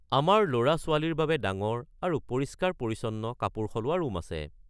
আমাৰ ল'ৰা/ছোৱালীৰ বাবে ডাঙৰ আৰু পৰিষ্কাৰ-পৰিচ্ছন্ন কাপোৰ সলোৱা ৰূম আছে।